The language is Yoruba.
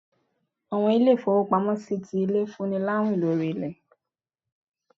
Àwọn ilé-ifowópámọsí tí ilé, fún ní láwín lorí ilé.